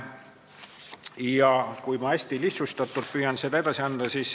Ma püüan seda hästi lihtsustatult edasi anda.